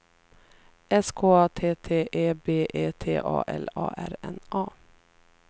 S K A T T E B E T A L A R N A